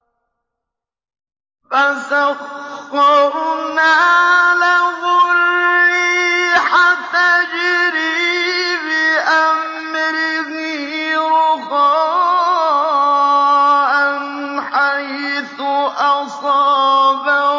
فَسَخَّرْنَا لَهُ الرِّيحَ تَجْرِي بِأَمْرِهِ رُخَاءً حَيْثُ أَصَابَ